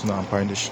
suna amfani da shi.